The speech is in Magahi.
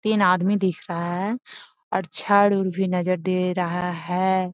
तीन आदमी दिख रहा है और छर - उर भी नज़र दे रहा है।